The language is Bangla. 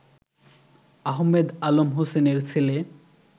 আহমেদ আলম হোসেনের ছেলে